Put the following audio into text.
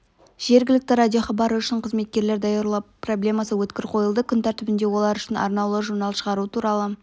жергілікті радиохабары үшін қызметкерлер даярлау проблемасы өткір қойылды күн тәртібінде олар үшін арнаулы журнал шығару туралы